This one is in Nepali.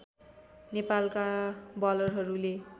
नेपालका बलरहरूले